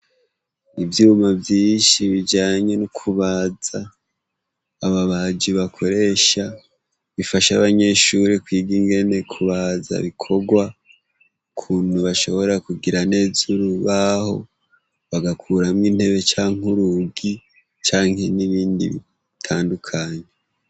Ivyuma vyinshi bijanye nukubaza ababaji bakoresha bifasha abanyeshure kwiga ingene kubaza bikorwa ukuntu bashobora kugira neza urubaho bagakuramwo intebe canke urugi canke nibindi bitandukanye